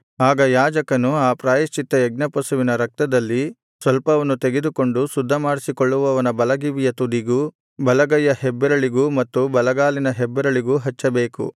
ಆಗ ಯಾಜಕನು ಆ ಪ್ರಾಯಶ್ಚಿತ್ತಯಜ್ಞ ಪಶುವಿನ ರಕ್ತದಲ್ಲಿ ಸ್ವಲ್ಪವನ್ನು ತೆಗೆದುಕೊಂಡು ಶುದ್ಧಮಾಡಿಸಿಕೊಳ್ಳುವವನ ಬಲಗಿವಿಯ ತುದಿಗೂ ಬಲಗೈಯ ಹೆಬ್ಬೆರಳಿಗೂ ಮತ್ತು ಬಲಗಾಲಿನ ಹೆಬ್ಬೆರಳಿಗೂ ಹಚ್ಚಬೇಕು